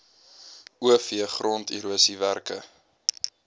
o v gronderosiewerke